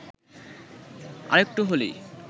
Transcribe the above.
আরেকটু হলেই